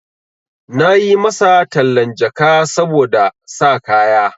Na yi masa tallan jaka saboda sa kaya.